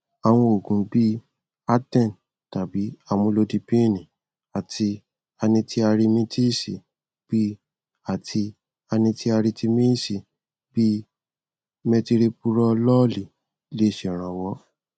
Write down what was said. àwọn òògùn bí i aten tàbí amulodipíìnì àti anitiaritimíìsì bí àti anitiaritimíìsì bí i metiropurolóòlì lẹ ṣèrànwọ